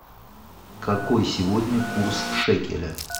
какой сегодня курс шекеля